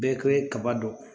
Bɛɛ kɛ kaba dɔn